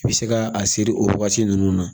I bɛ se ka a seri o waati ninnu na